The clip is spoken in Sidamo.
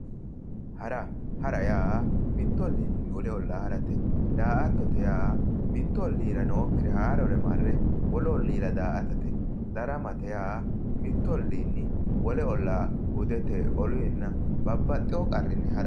Hara, hara yaa mittu olliinni wole ollaa harate, daa"attote yaa mittu olliira nookkire haarore marre wolu olliira daa"atate, daramate yaa mittu olliinni wole ollaa hudete oluyiinna babbaxxewo qarrinni harate.